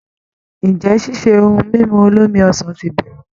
Ǹjẹ́ ṣíṣe ohun mímu olómi ọsàn ti bẹ̀rẹ̀?